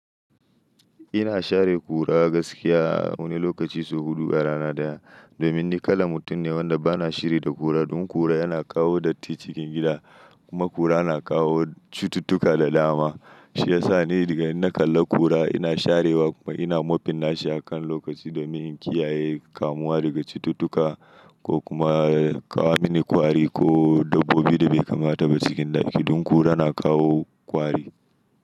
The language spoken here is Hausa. Ina share ƙura gaskiya wani lokaci sau huɗu a rana daya. Domin ni kalan mutum ne wanda ba na shiri da ƙura, don ƙura yana kawo datti cikin gida kuma ƙura na kawo cututtuka da dama. Shi ya sa ni daga inna kalla ƙura ina sharewa kuma ina mofin nashi a kan lokaci domin in kiyaye kamuwa daga cututtuka ko kuma ya kawo mini kwari ko dabbobi da bai kamata ba cikin ɗaki. Don ƙura na kawo kwari.